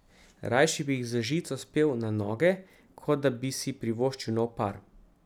Rajši bi jih z žico spel na noge, kot da bi si privoščil nov par.